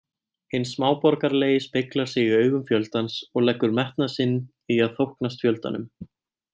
Hinn smáborgaralegi speglar sig í augum fjöldans og leggur metnað sinn í að þóknast fjöldanum.